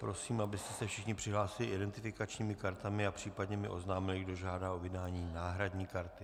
Prosím, abyste se všichni přihlásili identifikačními kartami a případně mi oznámili, kdo žádá o vydání náhradní karty.